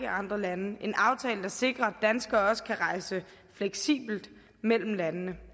andre lande en aftale der sikrer at danskere også kan rejse fleksibelt mellem landene